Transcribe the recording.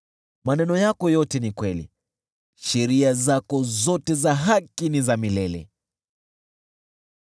Maneno yako yote ni kweli, sheria zako zote za haki ni za milele.